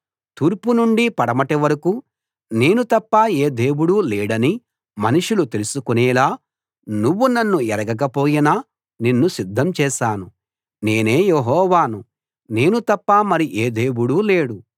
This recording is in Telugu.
తూర్పు నుండి పడమటి వరకూ నేను తప్ప ఏ దేవుడూ లేడని మనుషులు తెలుసుకోనేలా నువ్వు నన్ను ఎరుగకపోయినా నిన్ను సిద్ధం చేశాను నేనే యెహోవాను నేను తప్ప మరి ఏ దేవుడూ లేడు